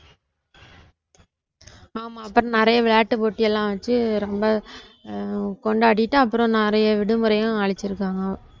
ஆமா அப்புறம் நிறைய விளையாட்டு போட்டியெல்லாம் வச்சி ரொம்ப ஆஹ் கொண்டாடிட்டு அப்புறம் நிறைய விடுமுறையும் அளிச்சிருக்காங்க.